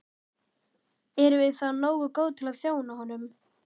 Erum við þá nógu góð til að þjóna honum?